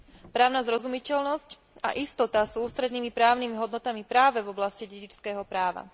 Právna zrozumiteľnosť a istota sú ústrednými právnymi hodnotami práve v oblasti dedičského práva.